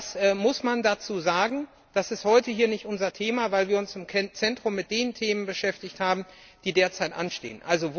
Das muss man dazu sagen, das ist heute hier nicht unser Thema, weil wir uns im Zentrum mit den Themen beschäftigt haben, die derzeit anstehen.